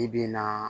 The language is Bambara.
I bi na